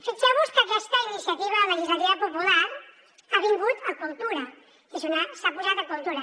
fixeu vos que aquesta iniciativa legislativa popular ha vingut a cultura s’ha posat a cultura